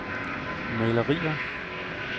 malerier